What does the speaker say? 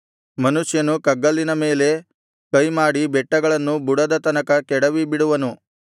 ಮನುಷ್ಯನು ಕಗ್ಗಲ್ಲಿನ ಮೇಲೆ ಕೈಮಾಡಿ ಬೆಟ್ಟಗಳನ್ನು ಬುಡದ ತನಕ ಕೆಡವಿಬಿಡುವನು